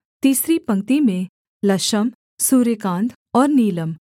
तीसरी पंक्ति में लशम सूर्यकांत और नीलम